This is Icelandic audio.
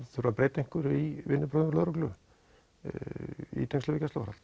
þurfi að breyta einhverju í vinnubrögðum lögreglu í tengslum við gæsluvarðhald